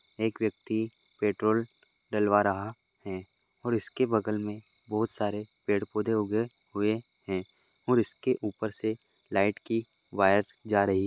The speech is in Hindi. एक व्यक्ति पेट्रोल डलवा रहा है और उसके बगल में बहुत सारे पेड़ पौधे उगे हुए हैं और इसके ऊपर से लाइट की वायर जा रही --